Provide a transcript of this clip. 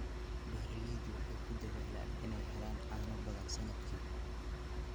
Beeraleydu waxay ku dadaalaan inay helaan caano badan sannadkii.